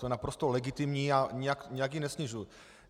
To je naprosto legitimní a nijak ji nesnižuji.